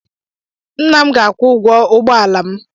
Nna m ga-akwụ ụgwọ ụgbọala m.